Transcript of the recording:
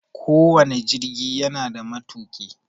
Ko wane jirgi yana da matuƙi.